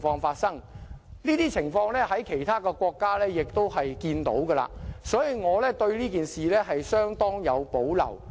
這些情況在其他國家亦會看到，所以我對這件事相當有保留。